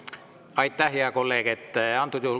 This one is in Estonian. Aitäh, hea kolleeg!